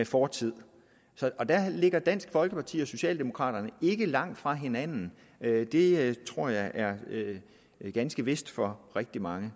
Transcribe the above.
fortiden og der ligger dansk folkeparti og socialdemokraterne ikke langt fra hinanden det det tror jeg er ganske vist for rigtig mange